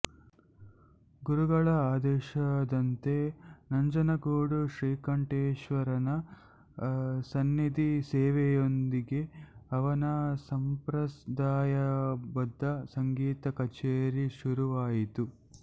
ಗುರುಗಳ ಆದೇಶದಂತೆ ನಂಜನಗೂಡು ಶ್ರೀಕಂಠೇಶ್ವರನ ಸನ್ನಿಧಿ ಸೇವೆಯೊಂದಿಗೆ ಅವನ ಸಂಪ್ರದಾಯಬದ್ಧ ಸಂಗೀತ ಕಛೇರಿ ಶುರುವಾಯಿತು